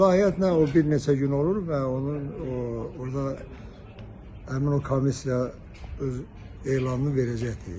İlahiyyat nə o bir neçə gün olur və onun orda həmin o komissiya öz elanını verəcəkdir.